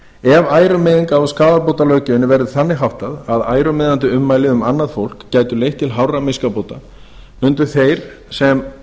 ef ærumeiðinga og skaðabótalöggjöfinni verður þannig háttað að ærumeiðandi ummæli um annað fólk gætu leitt til hárra miskabóta mundu þeir sem